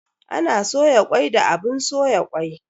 Ana soya kwai da abun soya kwai